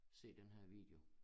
Se den her video